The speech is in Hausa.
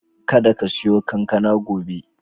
Kada ka siyo kankana gobe.